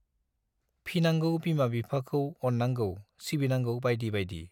फिनांगौ बिमा बिफाखौ अन्नांगौ, सिबिनांगौ-बाइदि बाइदि।